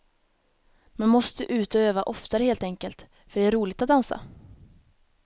Man måste ut och öva oftare helt enkelt, för det är roligt att dansa.